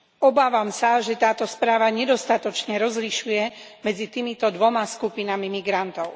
Obávam sa, že táto správa nedostatočne rozlišuje medzi týmito dvomi skupinami migrantov.